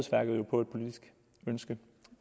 politisk ønske